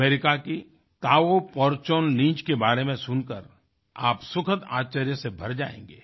America की Tao Porchon Lynch के बारे में सुनकर आप सुखद आश्चर्य से भर जाएंगे